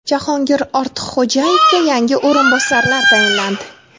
Jahongir Ortiqxo‘jayevga yangi o‘rinbosarlar tayinlandi.